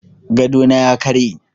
Gadona ya karye.